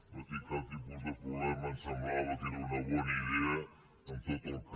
no hi tinc cap tipus de problema em semblava que era una bona idea amb tot el que